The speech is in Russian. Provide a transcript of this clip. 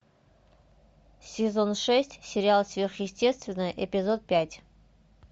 сезон шесть сериал сверхъестественное эпизод пять